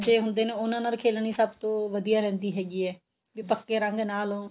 ਕੱਚੇ ਹੁੰਦੇ ਨੇ ਉਹਨਾ ਨਾਲ ਖੇਲਣੀ ਸਭ ਤੋਂ ਵਧੀਆਂ ਰਹਿੰਦੀ ਹੈਗੀ ਏ ਵੀ ਪੱਕੇ ਰੰਗ ਨਾ ਲੋ